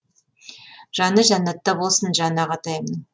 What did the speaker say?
жаны жәннатта болсын жан ағатайымның